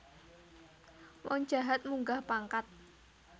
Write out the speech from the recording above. Wong jahat munggah pangkat